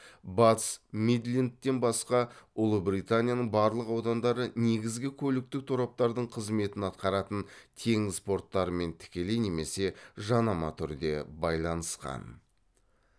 батыс мидлендтен басқа ұлыбританияның барлық аудандары негізгі көліктік тораптардың қызметін атқаратын теңіз порттарымен тікелей немесе жанама түрде байланысқан